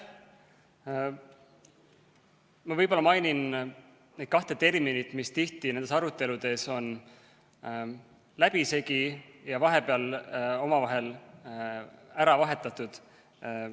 Ma võib-olla mainin neid kahte terminit, mis tihti nendes aruteludes on läbisegi ja vahepeal omavahel ära vahetatud.